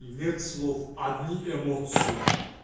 нет слов одни эмоции